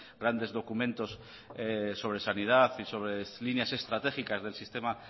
grandes documentos sobre sanidad y sobre líneas estratégicas del sistema